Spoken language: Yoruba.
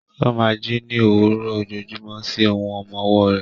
Ó máa ń jí ní òwúrọ̀ ojoojúmọ́ sí ohùn ọmọ ọwọ́ rẹ̀.